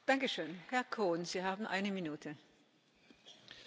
Frau Präsidentin, Frau Kommissarin, liebe Kolleginnen und Kollegen!